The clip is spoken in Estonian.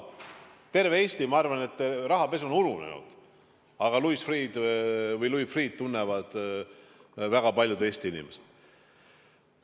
Terves Eestis, ma arvan, on rahapesu ununenud, aga Louis Freeh'd tunnevad väga paljud Eesti inimesed.